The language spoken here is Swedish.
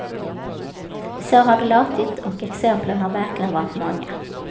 Så har det låtit, och exemplen har verkligen varit många.